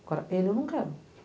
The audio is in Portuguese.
Agora, ele eu não quero.